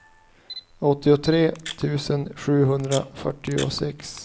åttiotre tusen sjuhundrafyrtiosex